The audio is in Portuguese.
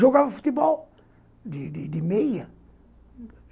Jogava futebol de de de meia, uhum.